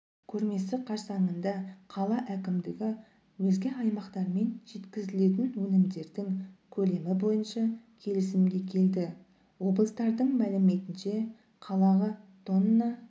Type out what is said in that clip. көрмесі қарсаңында қала әкімдігі өзге аймақтармен жеткізілетін өнімдердің көлемі бойынша келісімге келді облыстардың мәліметінше қалаға тонна